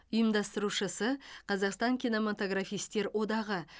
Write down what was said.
ұйымдастырушысы қазақстан кинематографистер одағы